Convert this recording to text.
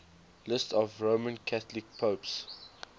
lists of roman catholic popes